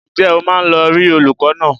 Ǹjẹ́ o máa lọ rí olùkọ́ náà?